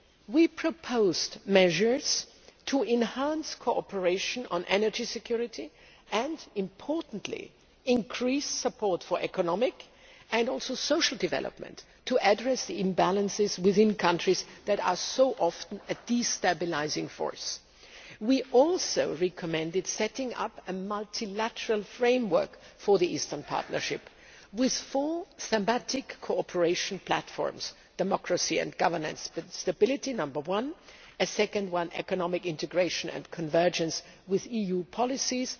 We proposed measures to enhance cooperation on energy security and, importantly, increase support for economic and also social development to address the imbalances within countries that are so often a destabilising force. We also recommended setting up a multilateral framework for the Eastern Partnership with four thematic cooperation platforms firstly, democracy and governance stability secondly, economic integration and convergence with EU policies